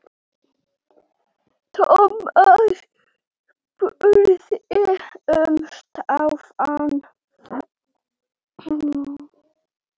Thomas spurði um Stefán.